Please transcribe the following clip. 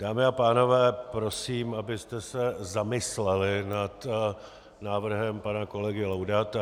Dámy a pánové, prosím, abyste se zamysleli nad návrhem pana kolegy Laudáta.